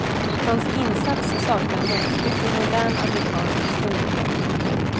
Hans insats saknar motstycke i modern amerikansk historia.